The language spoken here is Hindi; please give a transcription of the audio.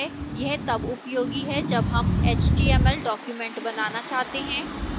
यह तब उपयोगी है जब html html documents बनाना चाहते हैं